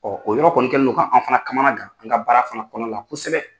o yɔrɔ kɔni kɛni do ka an fana kamanagan an ka baara fana kɔnɔna la kosɛbɛ.